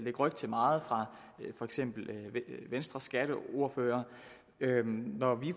ryg til meget fra for eksempel venstres skatteordfører når vi